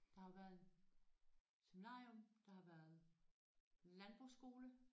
Der har jo været en seminarium der har været landbrugsskole